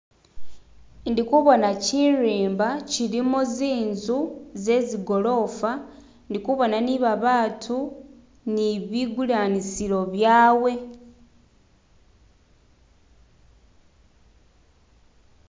indikubona chirimba chilimu zinzu zezi golofa ndikubona nibabatu nibigulanisilo byawe